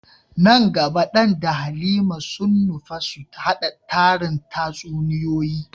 Nan gaba Dan da Halima sun nufa su hada tarin tatsuniyoyi.